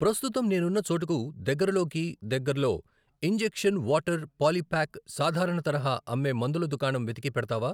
ప్రస్తుతం నేనున్న చోటుకు దగ్గరలోకి దగ్గరలో ఇంజెక్షన్ వాటర్ పాలిప్యాక్ సాధారణ తరహా అమ్మే మందుల దుకాణం వెతికి పెడతావా?